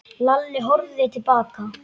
Lalli horfði til baka.